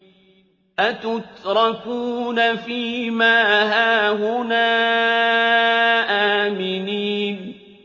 أَتُتْرَكُونَ فِي مَا هَاهُنَا آمِنِينَ